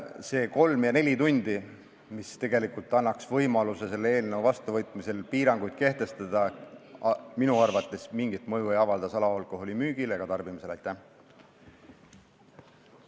Need kolm ja neli tundi, mille võrra selle eelnõu seadusena vastuvõtmine annaks võimaluse piiranguid kehtestada, minu arvates salaalkoholi müügile ega tarbimisele mingit mõju ei avalda.